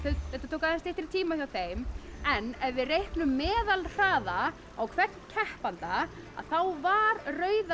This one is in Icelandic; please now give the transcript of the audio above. þetta tók aðeins styttri tíma hjá þeim en ef við reiknum meðalhraða á hvern keppanda þá var rauða